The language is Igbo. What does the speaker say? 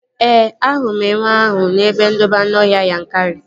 Ee, ahụrụ m enwe ahụ n'ebe ndobe anụọhịa Yankari